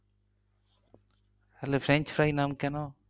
তাহলে french fry নাম কেন?